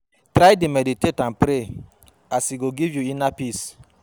Try dey meditate and pray as e go giv yu inner peace